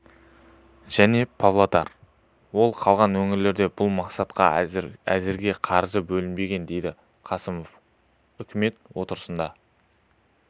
және павлодар облыстары ал қалған өңірлерде бұл мақсатқа әзірге қаржы бөлінбеген деді қасымов үкімет отырысында